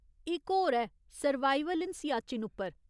इक होर ऐ सर्वाइवल इन सियाचन उप्पर।